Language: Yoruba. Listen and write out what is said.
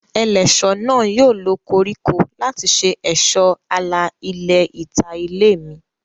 Ẹlẹ́ṣọ̀ náà yóò lo koríko láti ṣe ẹ̀ṣọ́ àlà ilẹ̀ ìta ilé mi